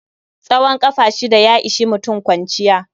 Tsawon ƙafa shida ya ishi mutum kwanciya.